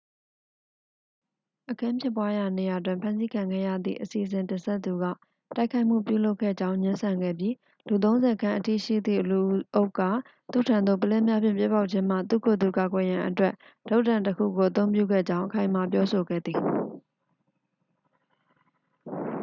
အခင်းဖြစ်ပွားရာနေရာတွင် ဖမ်းဆီးခံခဲ့ရသည့် အစီအစဉ်တင်ဆက်သူက တိုက်ခိုက်မှုပြုလုပ်ခဲ့ကြောင်း ငြင်းဆန်ခဲ့ပြီး လူသုံးဆယ်ခန့်အထိရှိသည့်လူအုပ်က သူ့ထံသို့ ပုလင်းများဖြင့် ပစ်ပေါက်ခြင်းမှ သူ့ကိုယ်သူ ကာကွယ်ရန်အတွက် တုတ်တံတစ်ခုကို အသုံးပြုခဲ့ကြောင်း အခိုင်အမာပြောဆိုခဲ့သည်